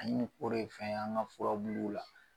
An ye o de fɛn an ŋa furabulu la